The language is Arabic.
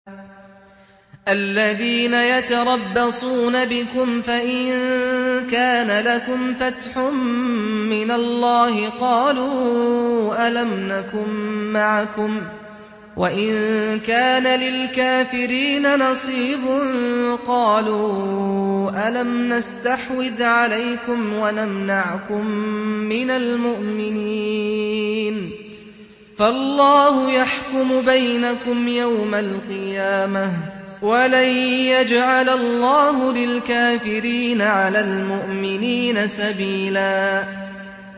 الَّذِينَ يَتَرَبَّصُونَ بِكُمْ فَإِن كَانَ لَكُمْ فَتْحٌ مِّنَ اللَّهِ قَالُوا أَلَمْ نَكُن مَّعَكُمْ وَإِن كَانَ لِلْكَافِرِينَ نَصِيبٌ قَالُوا أَلَمْ نَسْتَحْوِذْ عَلَيْكُمْ وَنَمْنَعْكُم مِّنَ الْمُؤْمِنِينَ ۚ فَاللَّهُ يَحْكُمُ بَيْنَكُمْ يَوْمَ الْقِيَامَةِ ۗ وَلَن يَجْعَلَ اللَّهُ لِلْكَافِرِينَ عَلَى الْمُؤْمِنِينَ سَبِيلًا